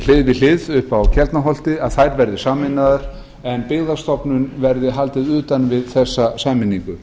hlið við hlið uppi á keldnaholti að þær verði sameinaðar en byggðastofnun verði haldið utan við þessa sameiningu